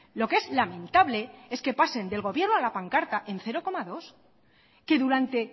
lo que es lamentable es que pasen del gobierno a la pancarta en cero coma dos que durante